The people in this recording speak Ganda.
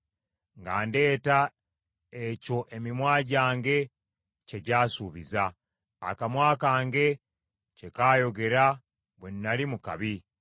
nga ndeeta ekyo emimwa gyange kye gyasuubiza; akamwa kange kye kaayogera bwe nnali mu kabi.